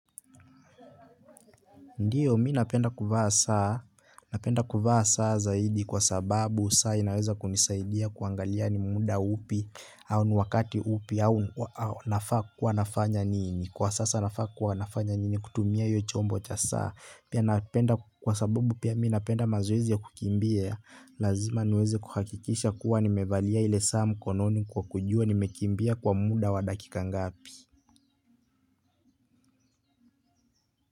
Ndiyo mimi napenda kuvaa saa, napenda kuvaa saa zaidi kwa sababu saa inaweza kunisaidia kuangalia ni muda upi au ni wakati upi au nafaa kuwa nafanya nini, kwa sasa nafa kuwa nafanya nini kutumia hiyo chombo cha saa kwa sababu pia mimi napenda mazoezi ya kukimbia lazima niweze kuhakikisha kuwa ni mevalia ile saa mkononi kwa kujua nimekimbia kwa muda wa dakika ngapi.